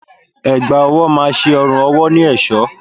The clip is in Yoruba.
Ẹ̀gbá ọwọ́ má ṣe ọrùn ọwọ́ ní èṣọ́.